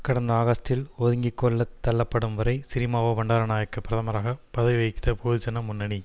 கடந்த ஆகஸ்டில் ஒதுங்கி கொள்ள தள்ளப்படும்வரை சிறிமாவோ பண்டாரநாயக்க பிரதமராக பதவி வகித்த பொதுஜன முன்னணி